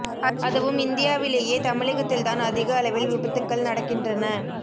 அதுவும் இந்தியாவிலேயே தமிழகத்தில் தான் அதிக அளவில் விபத்துக்கள் நடக்கின்றன